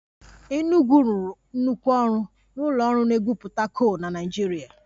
Enugwu rụrụ nnukwu ọrụ n'ụlọ ọrụ na-egwupụta kol na Naịjirịa